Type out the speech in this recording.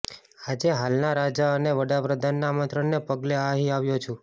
આજે હાલના રાજા અને વડાપ્રધાનના આમંત્રણને પગલે અહીં આવ્યો છુ